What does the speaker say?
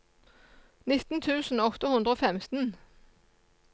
nitten tusen åtte hundre og femten